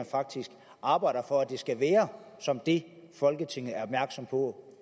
faktisk at arbejde for at det skal være som det folketinget er opmærksom på